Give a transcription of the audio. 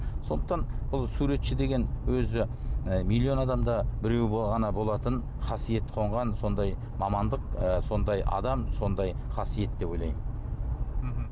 сондықтан бұл суретші деген өзі і миллион адамда біреу ғана болатын қасиет қонған сондай мамандық ы сондай адам сондай қасиет деп ойлаймын мхм